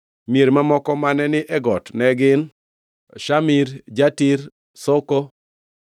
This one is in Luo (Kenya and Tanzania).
Mier mamoko mane ni e got ne gin: Shamir, Jatir, Soko,